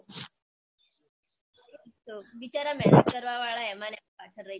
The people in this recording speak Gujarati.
બિચારા મેહનત કરવાં વાળા એમાં ને એમાં પાછળ રઈ જતા હોય છે